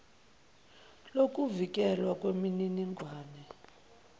lokuvikelwa kweminining wane